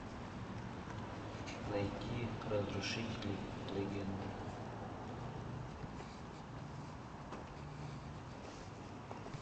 найти разрушители легенд